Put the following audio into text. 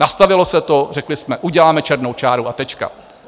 Nastavilo se to, řekli jsme, uděláme černou čáru, a tečka.